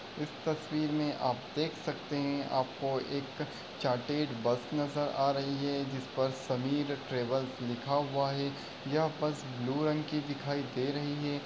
इस तस्वीर में आप देख सकते हैं। आपको एक चार्टर्ड बस नजर आ रही है। जिस पर समीर ट्रेवल्स लिखा हुआ है। यह बस ब्लू रंग की दिखाई दे रही है।